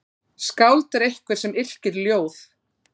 Skáld er einhver sem yrkir ljóð.